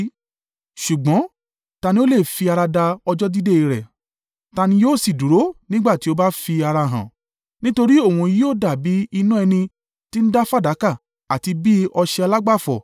Ṣùgbọ́n ta ni o lè fi ara da ọjọ́ dídé rẹ̀? Ta ni yóò sì dúró nígbà tí ó bá fi ara hàn? Nítorí òun yóò dàbí iná ẹni tí ń da fàdákà àti bi ọṣẹ alágbàfọ̀.